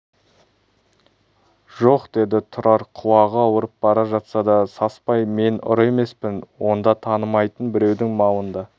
жоқ деді тұрар құлағы ауырып бара жатса да саспай мен ұры емеспін онда танымайтын біреудің малында